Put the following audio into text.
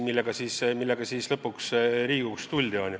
Sellega tuldi lõpuks Riigikogusse.